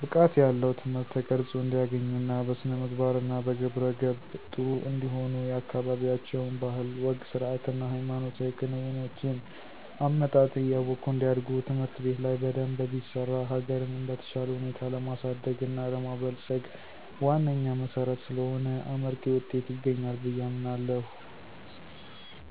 ብቃት ያለው ትምህርት ተቀረፆ እንዲያገኙ እና በስነምግባር እና በግብረ ገብ ጥሩ እንዲሆኑ የአካበቢያቸውን ባህል፣ ወግ፣ ስርአት እና ሃይማኖታዊ ክንውኖችን(አመጣጥ) እያወቁ እንዲያድጉ ትምህርት ቤት ላይ በደንብ ቢሰራ ሀገርንም በተሻለ ሁኔታ ለማሳደግ እና ለማበልፀግ ዋነኛ መሰረት ስለሆነ አመርቂ ዉጤት ይገኛል ብየ አምናለሁ።